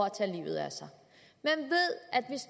at tage livet af sig